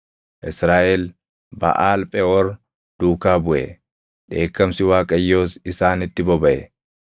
Israaʼel Baʼaal Pheʼoor duukaa buʼe. Dheekkamsi Waaqayyoos isaanitti bobaʼe.